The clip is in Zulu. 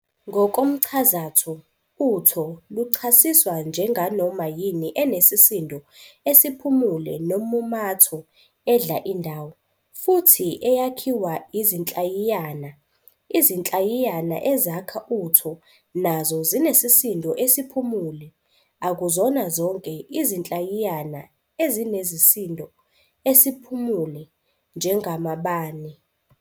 Ngokomchazatho, uTho luchasiswa njenganoma yini enesisindo esiphumule nommumatho, edla indawo, futhi eyakhiwa izinhlayiyana. Izinhlayiyana ezakha uTho nazo zinesisindo esiphumule, - akuzona zonke izinhlayiyana ezinesisindo esiphumule, njengamabane.